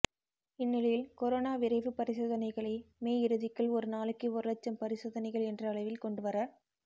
இந்நிலையில் கொரோனா விரைவு பரிசோதனைகளை மே இறுதிக்குள் ஒரு நாளைக்கு ஒரு லட்சம் பரிசோதனைகள் என்ற அளவில் கொண்டு வர